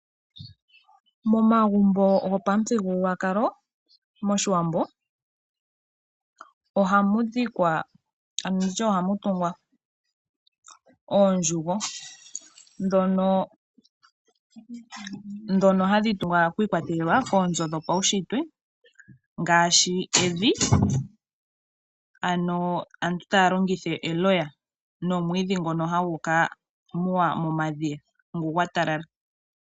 Momagumbo gopamuthigululwakalo moshiwambo ohamu tungwa oondjugo. Ndhono hadhi tungwa shi ikwatelela koonzo dhopaushitwe ngaashi evi ano aantu taya longitha eloya nomwiidhi ngono hagu kamuwa momadhiya ngu gwatalala.